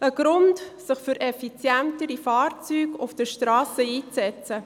Das ist ein Grund, um sich für effizientere Fahrzeuge auf der Strasse einzusetzen.